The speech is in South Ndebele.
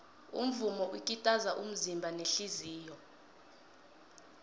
umvumo ukitaza umzimba nehliziyo